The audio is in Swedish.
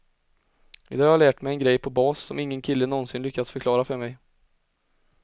I dag har jag lärt mig en grej på bas som ingen kille någonsin lyckats förklara för mig.